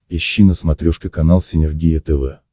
ищи на смотрешке канал синергия тв